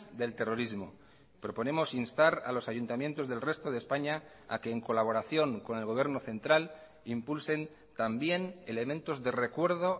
del terrorismo proponemos instar a los ayuntamientos del resto de españa a que en colaboración con el gobierno central impulsen también elementos de recuerdo